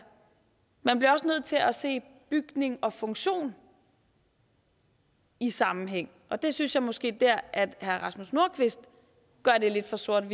man bliver også nødt til at se bygning og funktion i sammenhæng og der synes jeg måske herre rasmus nordqvist gør det lidt for sort